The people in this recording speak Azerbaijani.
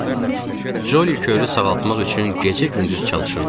Ccoli körü sağaltmaq üçün gecə-gündüz çalışırdıq.